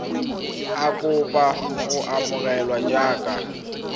a kopa go amogelwa jaaka